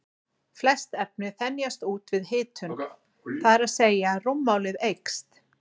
Flest efni þenjast út við hitun, það er að segja að rúmmálið eykst.